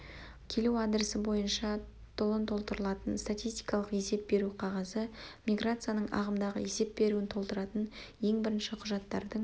келу адресі бойынша толон толтырылатын статистикалық есеп беру қағазы-миграцияның ағымдағы есеп беруін толтыратын ең бірінші құжаттардың